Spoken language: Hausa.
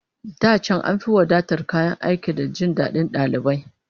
Da can an fi wadatar kayan aiki da jin dadin dalibai